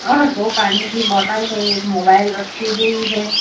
और दो पानी की बॉटल है मोबाइल रखी हुई है।